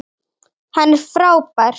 Hann er frábær.